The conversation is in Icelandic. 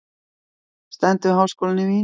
Stendur við háskólann í Vín.